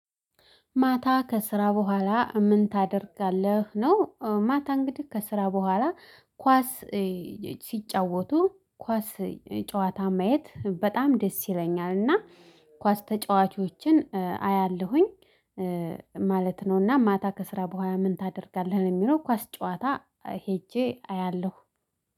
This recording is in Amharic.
ማታ ከስራ በኋላ ምን ታደርጋለህ ነው? ማታ እንግዲህ ከስራ በኋላ። ኳስ ሲጫወቱ ኳስ ጨዋታ ማየት በጣም ደስ ይለኛል እና ኳስ ተጫዋቾችን አያለሁኝ። ማለት ነው። እና ማታ ከስራ በኋላ ምን ታደርጋለህ? ለሚለው ኳስ ጨዋታ ሄጄ አያለሁ